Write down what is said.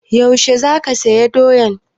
Yaushe za ka saya doyan?